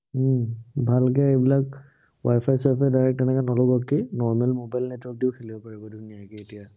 উম ভালকে সেইবিলাক wi-fi চোৱাই ফাই direct তেনেকে নলগোৱাকেও normal mobile network দিও খেলিব পাৰিব ধুনীয়াকে এতিয়া।